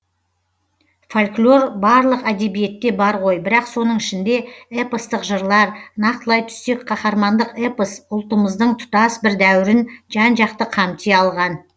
фольклор барлық әдебиетте бар ғой бірақ соның ішінде эпостық жырлар нақтылай түссек қаһармандық эпос ұлттымыздың тұтас бір дәуірін жан жақты қамти алған